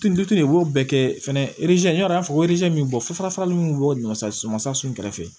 de b'o bɛɛ kɛ fɛnɛ min bɛ bɔ fo fasa min bɛ bɔ ɲɔ sa sɔsun kɛrɛfɛ